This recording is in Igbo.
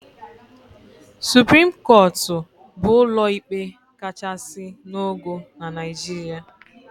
Supreme Court bụ ụlọ ikpe kachasị n'ogo na Naijiria.